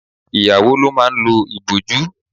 Ìyàwó ló máa ń lo ìbòjú.